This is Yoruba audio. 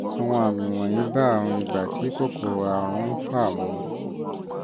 àwọn àmì wọ̀nyí bá àrùn ibà tí kòkòrò àrùn ń fà mu